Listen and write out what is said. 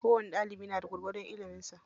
Kowani ɗalibi na da gwargwadon ilimin sa.